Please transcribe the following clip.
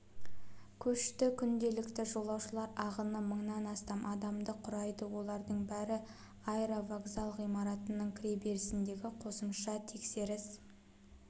көшті күнделікті жолаушылар ағыны мыңнан астам адамды құрайды олардың бәрі аэровокзал ғимаратының кіреберісіндегі қосымша тексеріс